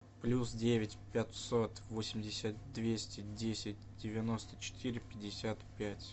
плюс девять пятьсот восемьдесят двести десять девяносто четыре пятьдесят пять